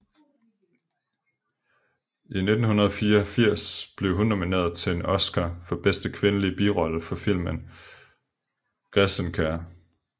I 1984 blev hun nomineret til en Oscar for bedste kvindelige birolle for filmen Græsenker